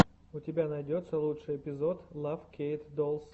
у тебя найдется лучший эпизод лав кейт долс